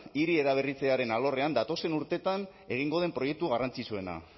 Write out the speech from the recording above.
hiri eraberritzearen alorrean datozen urteetan egingo den proiektu garrantzitsuena